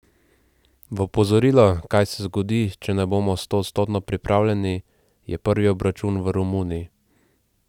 V opozorilo, kaj se zgodi, če ne bomo stoodstotno pripravljeni, je prvi obračun v Romuniji.